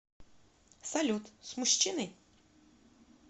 салют с мужчиной